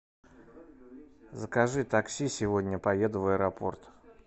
закажи такси сегодня поеду в аэропорт